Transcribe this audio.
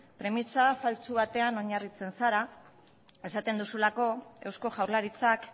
premisa faltsu batean oinarritzen zara esaten duzulako eusko jaurlaritzak